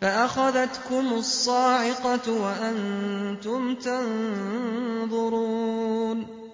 فَأَخَذَتْكُمُ الصَّاعِقَةُ وَأَنتُمْ تَنظُرُونَ